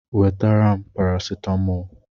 Wetara m paracetamol!